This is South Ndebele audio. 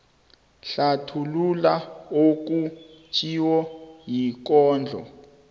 hlathulula okutjhiwo yikondlo